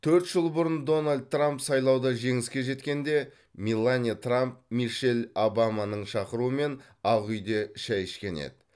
төрт жыл бұрын дональд трамп сайлауда жеңіске жеткенде меланья трамп мишель обаманың шақыруымен ақ үйде шай ішкен еді